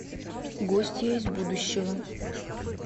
гостья из будущего